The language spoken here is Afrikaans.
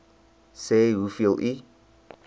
sê hoeveel u